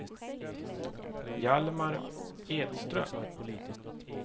Hjalmar Edström